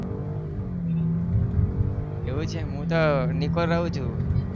એવું છે હું તો નિકોલ રહું છુ.